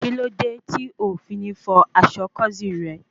Kíló dé tí o fi ní fọ aṣọ kósíìnì rẹ?